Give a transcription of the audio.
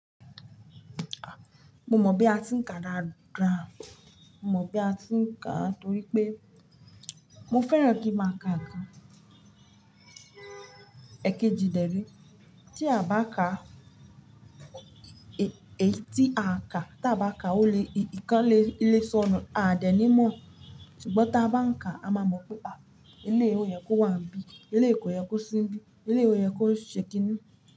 Mo mọ̀ bí a ti ń ka dá, mo mọ bí a ti ń ka torí pé mo fẹ́ràn kí n máa ka àká. Èkejì dẹ́ re, tí a bá ka, tí a bá ka, ó lè, ìkan lè sọnù, a dẹ̀ ní mọ̀. Ṣùgbọ́n tí a bá ń ka, a máa mọ̀ pé à, eléyi ò yẹ kó wà níbí, ilé kò yẹ kó sí níbí, ilé ò yẹ kó ṣé kiní.